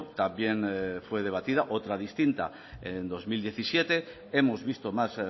también fue debatida otra distinta en dos mil diecisiete hemos visto más